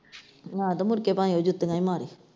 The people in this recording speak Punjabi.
ਆਹ ਤੇ ਮੁੜ ਕੇ ਭਾਵੇਂ ਉਹ ਜੁੱਤੀਆਂ ਈ ਮਾਰੇ।